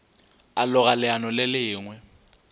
a loga leano le lengwe